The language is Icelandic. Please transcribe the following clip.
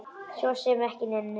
Svo sem ekki neinu.